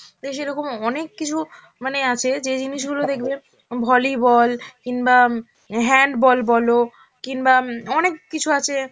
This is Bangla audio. দেশে এরকম অনেক কিছু মানে আছে যে জিনিসগুলো দেখবে volleyball কিংবা উম handball বলো, কিংবা উম অনেক কিছু আছে